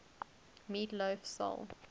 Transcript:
meat loaf soul